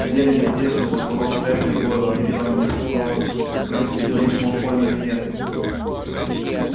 зелье не подействует без волос крэбба и гойла объявила она непреклонно вы хотите говорить с малфоем или нет